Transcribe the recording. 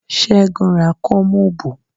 Ségun ra kóómubù